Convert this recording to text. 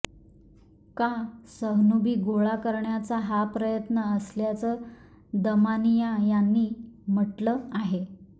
का सहनुभी गोळा करण्याचा हा प्रयत्न असल्याचं दमानिया यांनी म्हटलं आहे